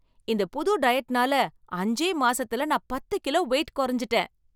இந்த புது டயட்னால அஞ்சே மாசத்துல நான் பத்து கிலோ வெயிட் குறைஞ்சுட்டேன்.